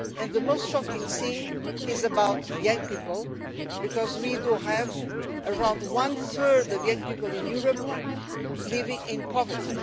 The most shocking thing concerns young people because we have around one third of young people in Europe living in poverty.